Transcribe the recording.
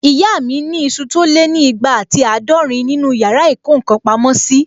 Ìyá mi ni isu tó lé ní ìgbà àti àádọ́rin nínu yàrá ìkó ǹkan pamọ́ sí